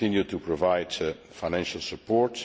We will continue to provide financial support.